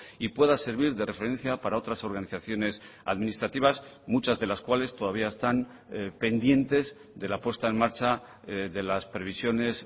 y pueda servir de referencia para otras organizaciones administrativas muchas de las cuales todavía están pendientes de la puesta en marcha de las previsiones